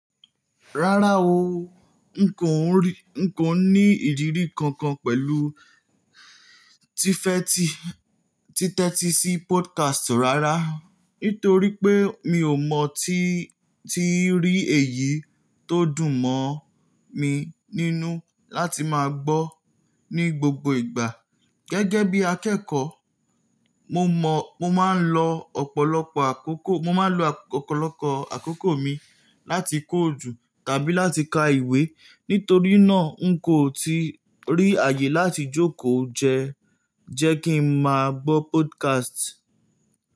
Rárá o, n kò ní ìrírí kankan pẹ̀lú títẹ́tí sí podcast rárá, nítorí pé mi ò mọ tí rí èyí tó dùn mọ̀ mi nínú láti máa gbọ́ ní gbogbo ìgbà. Gẹ́gẹ́ bí akẹ́kọ̀ọ́, mo máa ń lo ọ̀pọ̀lọpọ̀ àkókò mi láti kọ́ ojú tàbí láti ka ìwé. Nítorí náà, n kò ti rí àyè láti jókòó jẹ́ kí ń máa gbọ́ podcast.